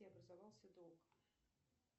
образовался долг